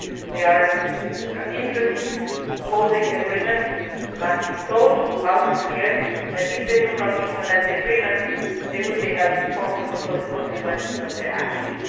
There are interests opposing the agreement, and they must be told loud and clear that if they do not implement the agreement they will be held responsible for the consequences of their actions.